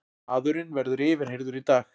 Maðurinn verður yfirheyrður í dag